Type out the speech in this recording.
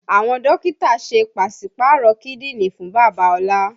Àwọn Dókítà ṣe pásípàrọ kídìní fún bàbá ola